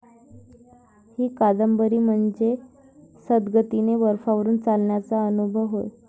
ही कादंबरी म्हणजे संथगतीने बर्फावरून चालण्याचा अनुभव होय.